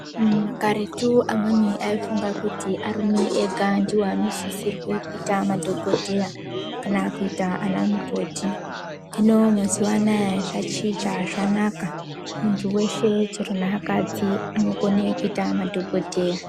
Makaretu amweni aifunga kuti arume ega ndiwo anosisirwe kuita madhokodheya, kana kuita ana mukoti. Hino mazuwa anaa zvachicha, zvanaka, muntu weshe chero neakadzi anokone kuita madhokodheya.